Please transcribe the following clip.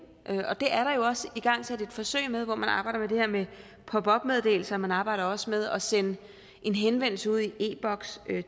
og det er der jo også igangsat et forsøg med hvor man arbejder med det her med pop op meddelelser og man arbejder også med at sende en henvendelse ud i e boks